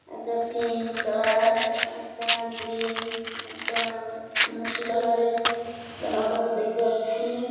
একটা pink colour একটা green একটা নস্যি কালার -এর জামাকাপড় দেখতে পাচ্ছি।